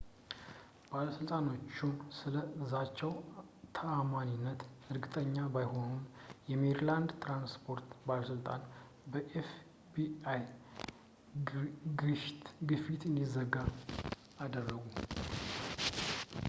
ባለሥልጣናቱ ስለ ዛቻው ተዓማኒነት እርግጠኛ ባይሆኑም ፣ የሜሪላንድ የትራንስፖርት ባለሥልጣን በኤፍ.ቢ.አይ. fbi ግፊት እንዲዘጋ አደረጉ